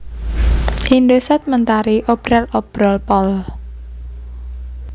Indosat Mentari Obral Obrol Pool